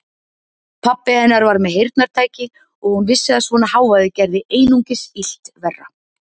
Pabbi hennar var með heyrnartæki og hún vissi að svona hávaði gerði einungis illt verra.